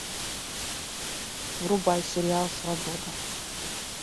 врубай сериал свобода